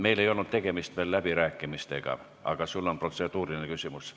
Meil ei ole tegemist veel läbirääkimistega, aga sul on protseduuriline küsimus.